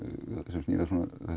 sem snýr að